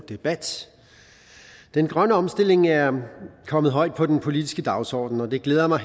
debat den grønne omstilling er kommet højt på den politiske dagsorden og det glæder mig